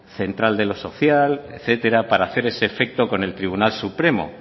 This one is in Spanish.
central de lo social etcétera para hacer ese efecto con el tribunal supremo